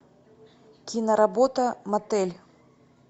киноработа мотель